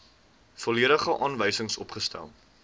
volledige aanwysings opgestel